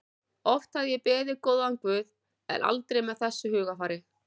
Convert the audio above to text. Oft hafði ég beðið góðan guð en aldrei með þessu hugarfari.